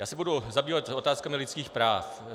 Já se budu zabývat otázkami lidských práv.